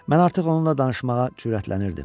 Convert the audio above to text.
Mən artıq onunla danışmağa cürətlənirdim.